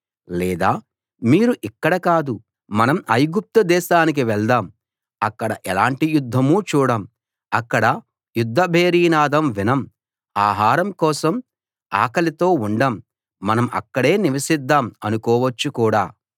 లేదా మీరు ఇక్కడ కాదు మనం ఐగుప్తు దేశానికి వెళ్దాం అక్కడ ఎలాంటి యుద్ధమూ చూడం అక్కడ యుద్ధ భేరీనాదం వినం ఆహారం కోసం ఆకలితో ఉండం మనం అక్కడే నివసిద్దాం అనుకోవచ్చు కూడా